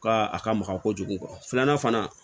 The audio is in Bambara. Ka a ka maka kojugu filanan fana